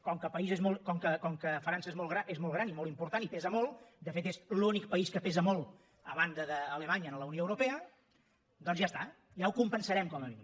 com que frança és molt gran i molt important i pesa molt de fet és l’únic país que pesa molt a banda d’alemanya a la unió europea doncs ja està ja ho compensarem com a mínim